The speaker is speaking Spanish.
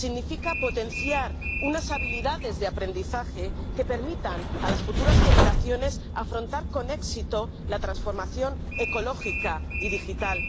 significa potenciar unas habilidades de aprendizaje que permitan a las futuras generaciones afrontar con éxito la transformación ecológica y digital